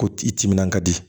Ko i timinan ka di